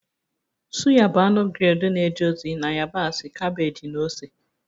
Suya bụ anụ grilled na-eje ozi na yabasị, kabeeji na ose